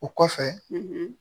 O kɔfɛ